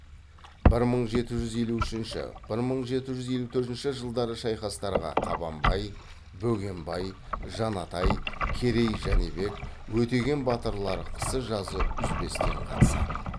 бір мың жеті жүз елу үшінші бір мың жеті жүз елу төртінші жылдағы шайқастарға қабанбай бөгенбай жанатай керей жәнібек өтеген батырлар қысы жазы үзбестен қатысады